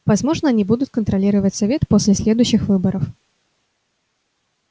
возможно они будут контролировать совет поле следующих выборов